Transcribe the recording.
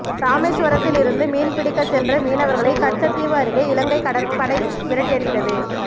ராமேஸ்வரத்தில் இருந்து மீன்பிடிக்கச் சென்ற மீனவர்களை கச்சத்தீவு அருகே இலங்கை கடற்படை விரட்டியடித்தது